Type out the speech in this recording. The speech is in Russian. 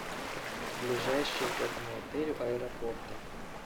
ближайшие к этому отелю аэропорты